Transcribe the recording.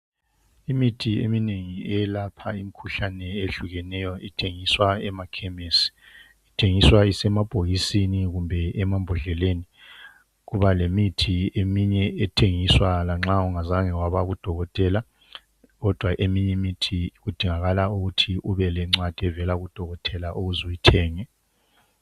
Imithi eminengi eyelapha imikhuhlane eyehlukeneyo ithengiswa emakhemisi. Ithengiswa isemabhokisini kumbe emambhodleleni. Kubalemithi eminye ethengiswa lanxa ungazange wabakudokotela. Kodwa eminye imithi, kudingakala ukuthi ubelencwadi evela kudokotela ukuz'uyithenge.